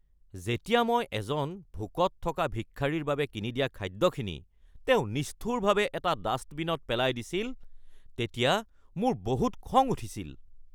যেতিয়া মই এজন ভোকত থকা ভিক্ষাৰীৰ বাবে কিনি দিয়া খাদ্যখিনি তেওঁ নিষ্ঠুৰভাৱে এটা ডাষ্টবিনত পেলাই দিছিল তেতিয়া মোৰ বহুত খং উঠিছিল।